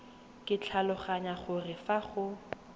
ke tlhaloganya gore fa go